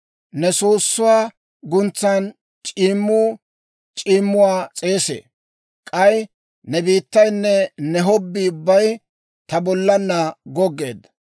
Ne soossuwaa guntsan c'iimmuu c'iimmaw s'eesee; K'ay ne beetaynne ne hobbii ubbay ta bollaanna goggeedda.